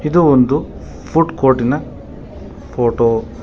ಇದು ಒಂದು food court ನ ಫೋಟೋ .